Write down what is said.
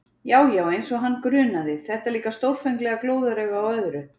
Já, já, eins og hann grunaði, þetta líka stórfenglega glóðarauga á öðru!